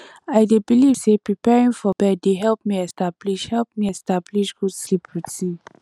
i dey believe say preparing for bed dey help me establish help me establish good sleep routine